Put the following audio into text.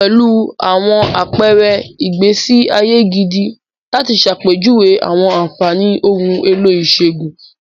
Pẹ̀lú àwọn àpẹẹrẹ ìgbésí ayé gidi láti ṣàpèjúwe àwọn àfààní ohun èlò ìṣègùn.